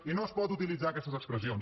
i no es poden utilitzar aquestes expressions